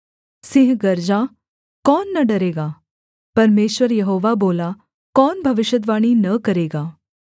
सिंह गरजा कौन न डरेगा परमेश्वर यहोवा बोला कौन भविष्यद्वाणी न करेगा